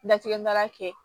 Latigɛ baara kɛ